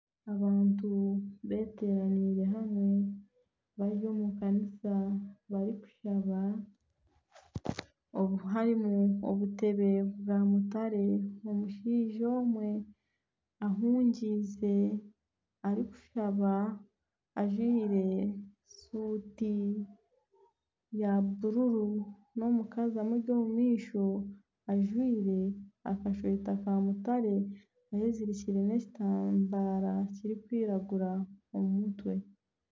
Abantu beteranaire hamwe bari omu kanisa barikushaba obu hayimu, harimu obutebe bwa mutaare omushaija omwe ahumize arikushaba ajwaire suuti ya bururu n'omukazi amuri omu maisho ajwaire akasweeta ka mutaare eyezirikire n'ekitambara kirikwiragura omu mutwe.